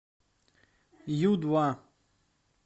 ю два